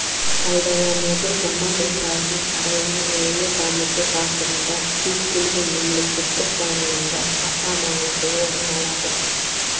пайдалануды заман ыңғайына қарай оңтайлы дамыту ғасырда кез-келген мемлекеттің дамуынада аса маңызды орын алады